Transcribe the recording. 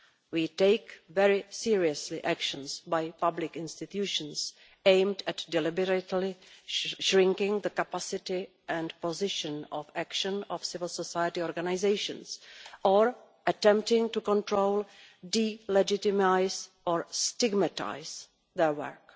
We take very seriously actions by public institutions aimed at deliberately shrinking the capacity and position of action of civil society organisations or attempting to control, delegitimise or stigmatise their work.